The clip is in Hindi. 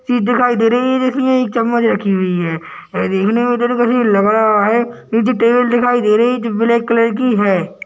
चीज दिखाई दे रही है जिसमें एक चमच रखी हुई है ये देखने में लग रहा है नीचे टेबल दिखाई दे रही है जो ब्लैक कलर की है।